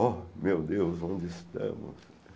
Oh, meu Deus, onde estamos?